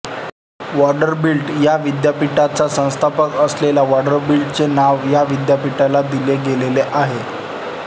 Vanderbilt विद्यापीठाचा संस्थापक असलेल्या व्हॅंडरबिल्टचेच नाव ह्या विद्यापीठाला दिले गेले आहे